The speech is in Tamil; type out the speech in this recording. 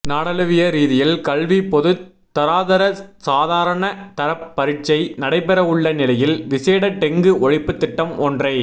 நாடளாவிய ரீதியில் கல்விப் பொதுத் தராதர சாதாரண தரப் பரீட்சை நடைபெறவுள்ள நிலையில் விசேட டெங்கு ஒழிப்புத் திட்டம் ஒன்றை